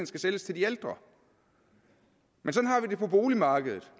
skal sælges til de ældre men sådan har vi det på boligmarkedet